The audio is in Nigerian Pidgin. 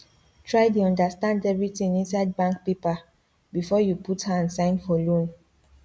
try dey understand everything inside bank paper before you put hand sign for loan